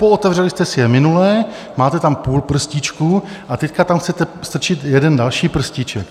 Pootevřeli jste si je minule, máte tam půl prstíčku a teď tam chcete strčit jeden další prstíček.